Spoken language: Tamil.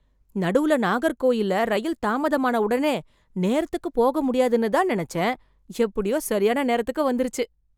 நடுவுல நாகர்கோயில்ல ரயில் தாமதமான உடனே நேரத்துக்குப் போக முடியாதுன்னு தான் நினச்சேன். எப்படியோ சரியான நேரத்துக்கு வந்துருச்சு.